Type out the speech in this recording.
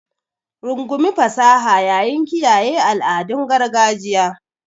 Rungumi fasaha yayin kiyaye al'adun gargajiya.